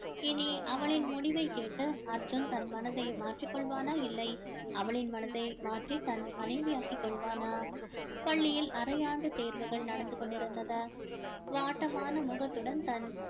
இனி அவளின் முடிவை கேட்டு அர்ஜுன் தன் மனதை மாற்றிக் கொள்வானா இல்லை அவளின் மனதை மாற்றி தன் மனைவி ஆக்கிக் கொள்வானா பள்ளியில் அரையாண்டு தேர்வுகள் நடந்து கொண்டிருந்தது வாட்டமான முகத்துடன் தன்